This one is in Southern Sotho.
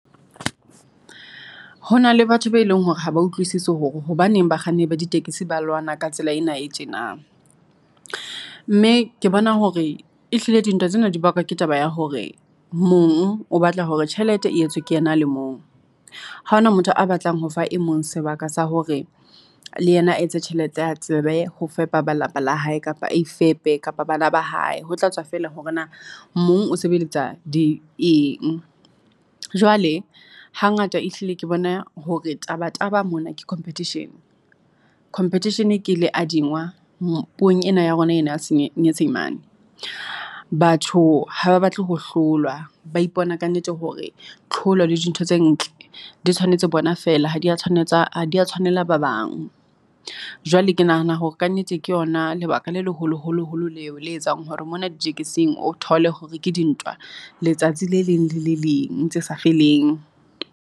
Ho na le batho ba e leng hore ha ba utlwisisi hore hobaneng bakganni ba ditekesi ba lwana ka tsela ena e tjena, mme ke bona hore e hlile dintwa tsena di bakwa ke taba ya hore mong o batla hore tjhelete e etswe ke yena le mong. Ha ho na motho a batlang ho fa e mong sebaka sa hore le yena a etse tjhelete a tsebe ho fepa ba lapa la hae kapa a ifepe kapa bana ba hae. Ho tla tswa feela hore na mong o sebeletsa di eng, jwale hangata e hlile ke bona hore taba taba mona ke competition. Competition ke leadingwa puong ena ya rona ena ya nyesemane. Batho ha ba batle ho hlolwa, ba ipona kannete hore tlholo le dintho tse ntle di tshwanetse bona feela ha di a tshwanetse ha di a tshwanela ba bang. Jwale ke nahana hore kannete ke ona lebaka le leholo-holoholo leo le etsang hore mona ditekesing, o thole hore ke dintwa letsatsi le leng le le leng tse sa feleng.